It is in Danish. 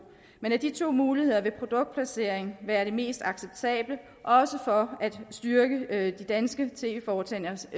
men af de to muligheder vil produktplacering være det mest acceptable også for at styrke de danske tv foretagenders